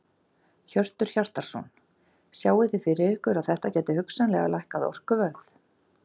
Hjörtur Hjartarson: Sjáið þið fyrir ykkur að þetta gæti hugsanlega lækkað orkuverð?